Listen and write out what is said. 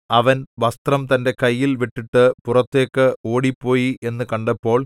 അവൻ വസ്ത്രം തന്റെ കയ്യിൽ വിട്ടിട്ട് പുറത്തേക്ക് ഓടിപ്പോയി എന്നു കണ്ടപ്പോൾ